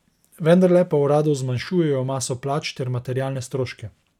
Vendarle pa v uradu zmanjšujejo maso plač ter materialne stroške.